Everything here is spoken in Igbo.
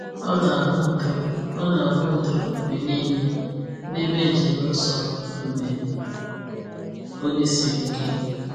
O na-ahụ udo O na-ahụ udo mgbe niile n’ebe njem nsọ mgbe oge siri ike.